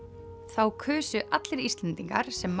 þá kusu allir Íslendingar sem